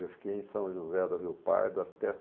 Eu fiquei em São José do Rio Pardo até